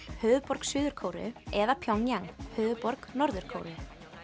höfuðborg Suður Kóreu eða Pjongjang höfuðborg Norður Kóreu